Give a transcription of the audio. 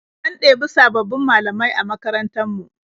An ɗebi sabbabin malamai a makarantar mu.